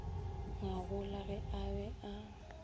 ngwagola ge a be a